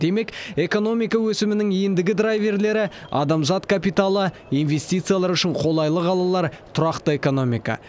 демек экономика өсімінің ендігі драйверлері адамзат капиталы инвестициялар үшін қолайлы қалалар тұрақты экономика